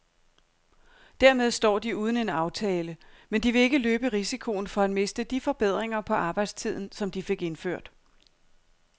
Dermed står de uden en aftale, men de vil ikke løbe risikoen for at miste de forbedringer på arbejdstiden, som de fik indført.